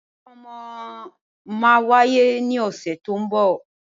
Ìkómọ máa wáyé ní ọ̀sẹ̀ to ń bọ̀.